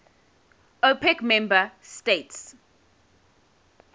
opec member states